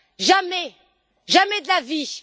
Jamais, jamais de la vie!